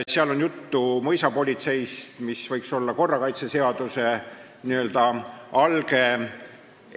Seal on juttu mõisapolitseist ja see säte võiks olla korrakaitseseaduse alge.